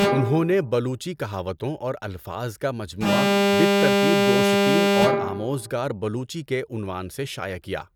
انہون نے بلوچی کہاوتوں اور الفاظ کا مجموعہ بالترتیب گؤشتین اور آموزگار بلوچی کے عنوان سے شائع کیا۔